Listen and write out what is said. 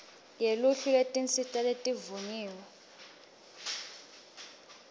seluhlwini lwetinsita letivunyiwe